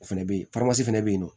O fɛnɛ be yen fɛnɛ be yen nɔ